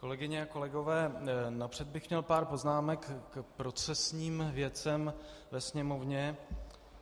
Kolegyně a kolegové, napřed bych měl pár poznámek k procesním věcem ve Sněmovně.